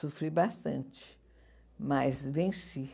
Sofri bastante, mas venci.